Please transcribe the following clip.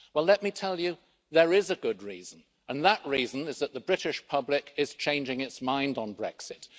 Well, let me tell you, there is a good reason, and that reason is that the British public is changing its mind on Brexit.